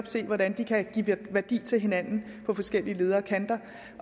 se hvordan de kan give værdi til hinanden på forskellige leder og kanter